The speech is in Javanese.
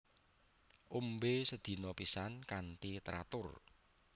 Ombe sedina pisan kanthi teratur